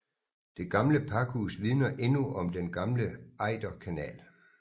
Det gamle pakhus vidner endnu om den gamle Ejderkanal